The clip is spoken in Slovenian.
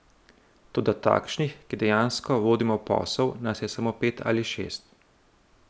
Toda takšnih, ki dejansko vodimo posel, nas je samo pet ali šest.